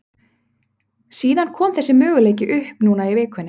Síðan kom þessi möguleiki upp núna í vikunni.